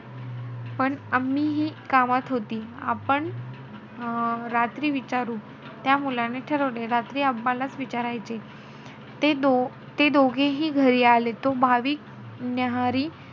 पण हि कामात होती. आपण रात्री विचारू, त्या मुलाने ठरवले. रात्री लाचं विचारायचे. ते दो~ ते दोघीही घरी आले. तो भाविक न्याहरी,